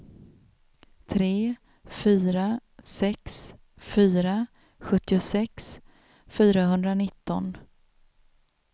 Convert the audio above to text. tre fyra sex fyra sjuttiosex fyrahundranitton